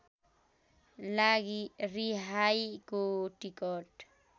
लागि रिहाईको टिकट